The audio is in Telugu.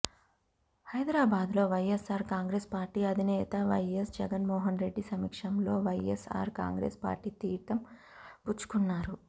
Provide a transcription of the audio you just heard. హైదరాబాద్ లో వైఎస్ఆర్ కాంగ్రెస్ పార్టీ అధినేత వైఎస్ జగన్మోహన్ రెడ్డి సమక్షంలో వైఎస్ఆర్ కాంగ్రెస్ పార్టీ తీర్థం పుచ్చుకున్నారు